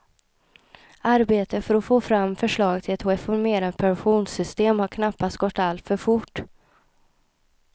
Arbetet för att få fram förslag till ett reformerat pensionssystem har knappast gått alltför fort.